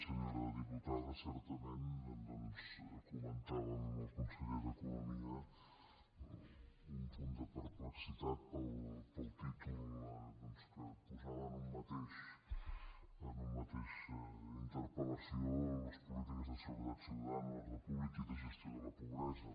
senyora diputada certament doncs comentàvem amb el conseller d’economia un punt de perplexitat pel títol doncs que posava en una mateixa interpelciutadana l’ordre públic i la gestió de la pobresa